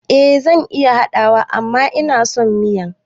Eh zan iya haɗawa amma inason miyan